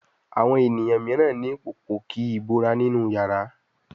Àwọn ènìyàn míràn ní Pòpòkí ìbora nínú iyàrá.